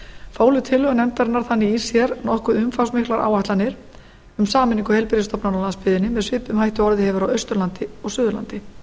fólu tillögur nefndarinnar þannig í sér nokkuð umfangsmiklar áætlanir um sameiningu heilbrigðisstofnana á landsbyggðinni með svipuðum hætti og orðið hefur á austurlandi og suðurlandi